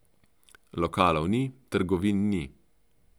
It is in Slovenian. Lokalov ni, trgovin ni.